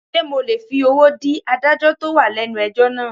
Sé mo lè fi owó dí adájọ́ tó wà lẹ́nu ẹjọ́ náà.